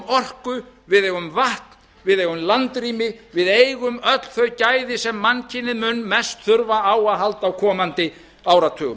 orku við eigum vatn við eigum landrými við eigum öll þau gæði sem mannkynið mun mest þurfa á að halda á komandi áratugum það